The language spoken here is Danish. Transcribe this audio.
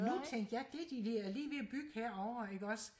nu tænkte jeg det de er ved og lige ved at bygge herovre ikke også